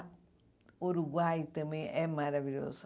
O Uruguai também é maravilhoso.